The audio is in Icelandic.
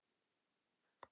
Einsog ég muni það ekki!